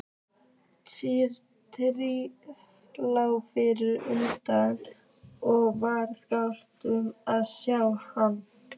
Týri lá fyrir utan og varð glaður að sjá hana.